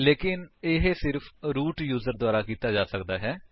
ਲੇਕਿਨ ਇਹ ਸਿਰਫ ਰੂਟ ਯੂਜਰ ਦੁਆਰਾ ਕੀਤਾ ਜਾ ਸਕਦਾ ਹੈ